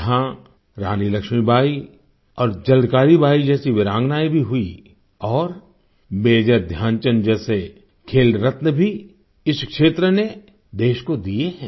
यहाँ रानी लक्ष्मीबाई और झलकारी बाई जैसी वीरांगनाएँ भी हुईं और मेजर ध्यानचंद जैसे खेल रत्न भी इस क्षेत्र ने देश को दिये हैं